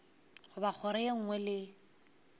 goba kgoro ye nngwe le